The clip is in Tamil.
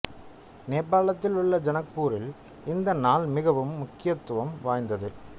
நேபாளத்தில் உள்ள ஜனக்பூரில் இந்த நாள் மிகவும் முக்கியத்துவம் வாய்ந்தது